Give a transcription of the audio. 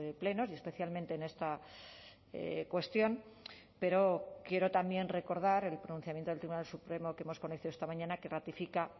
plenos y especialmente en esta cuestión pero quiero también recordar el pronunciamiento del tribunal supremo que hemos conocido esta mañana que ratifica